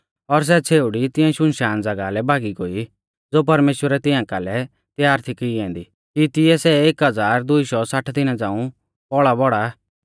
और सै छ़ेउड़ी तिऐं सुनसान ज़ागाह लै भागी गोई ज़ो परमेश्‍वरै तिंया कालै त्यार थी की ऐन्दी कि तिऐ सै एक हज़ार दुई शौ साठ दिना झ़ांऊ पौल़ाबौड़ा